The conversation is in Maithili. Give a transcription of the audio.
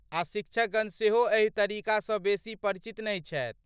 आ शिक्षकगण सेहो एहि तरीकासँ बेसी परिचित नहि छथि।